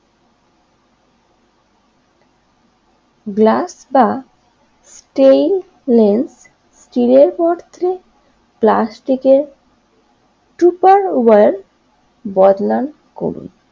glass বা steel এর বদলে প্লাস্টিকের